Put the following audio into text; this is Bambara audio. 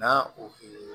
Na o